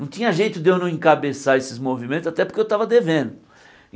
Não tinha jeito de eu não encabeçar esses movimentos, até porque eu estava devendo.